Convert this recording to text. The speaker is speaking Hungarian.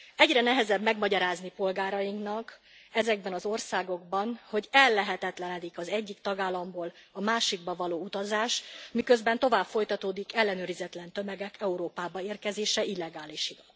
Egyre nehezebb megmagyarázni polgárainknak ezekben az országokban, hogy ellehetetlenedik az egyik tagállamból a másikba való utazás, miközben tovább folytatódik ellenőrizetlen tömegek Európába érkezése illegálisan.